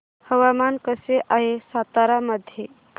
हवामान कसे आहे सातारा मध्ये